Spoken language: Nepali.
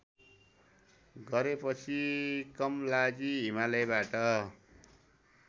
गरेपछि कमलाजी हिमालयबाट